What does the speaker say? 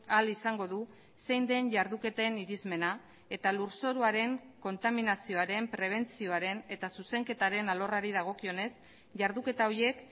ahal izango du zein den jarduketen irizmena eta lurzoruaren kontaminazioaren prebentzioaren eta zuzenketaren alorrari dagokionez jarduketa horiek